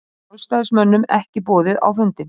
Sjálfstæðismönnum ekki boðið á fundinn